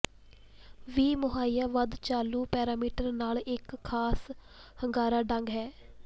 ਵੀ ਮੁਹੱਈਆ ਵੱਧ ਚਾਲੂ ਪੈਰਾਮੀਟਰ ਨਾਲ ਇੱਕ ਖਾਸ ਹੁੰਗਾਰਾ ਢੰਗ ਹੈ